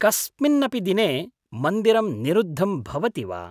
कस्मिन्नपि दिने मन्दिरं निरुद्धं भवति वा?